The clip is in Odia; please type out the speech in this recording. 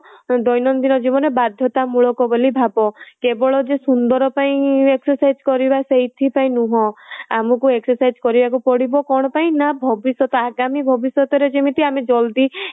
ଦୈନଦିନ ଜୀବନରେ ବାଧ୍ୟତା ମୂଳକ ବୋଲି ଭାବ କେବଳ ଯେ ସୁନ୍ଦର ପାଇଁ exercise କରିବା ସେଇଥି ପାଇଁ ନୁହଁ ଆମକୁ exercise କରିବାକୁ ପଡିବ କଣ ପାଇଁ ନା ଭବିଷ୍ୟତ ଆଗାମୀ ଭବିଷ୍ୟତରେ ଯେମିତି ଆମେ ଜଲ୍ଦି